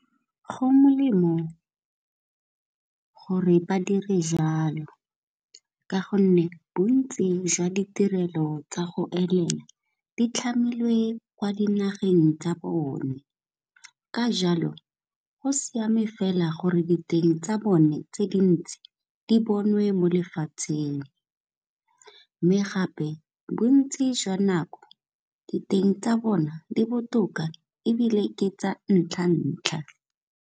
Go molemo gore ba dire jalo ka gonne bontsi jwa ditirelo tsa go elela di tlhamilwe kwa dinageng tsa bone, ka jalo go siame fela gore diteng tsa bone tse dintsi di bonwe mo lefatsheng, mme gape bontsi jwa nako diteng tsa bona di botoka ebile ke tsa ntlha-ntlha.